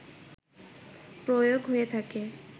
প্রয়োগ হয়ে থাকে